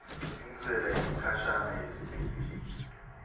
intsela yesikhashana yesibili